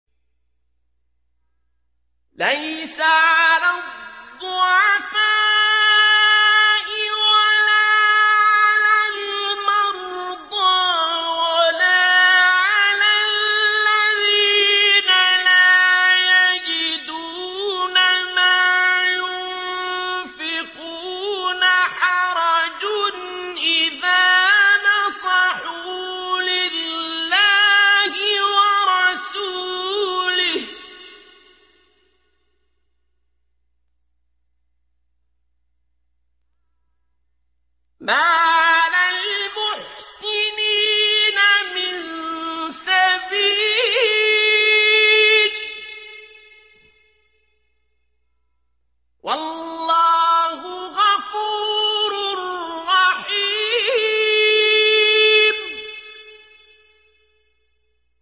لَّيْسَ عَلَى الضُّعَفَاءِ وَلَا عَلَى الْمَرْضَىٰ وَلَا عَلَى الَّذِينَ لَا يَجِدُونَ مَا يُنفِقُونَ حَرَجٌ إِذَا نَصَحُوا لِلَّهِ وَرَسُولِهِ ۚ مَا عَلَى الْمُحْسِنِينَ مِن سَبِيلٍ ۚ وَاللَّهُ غَفُورٌ رَّحِيمٌ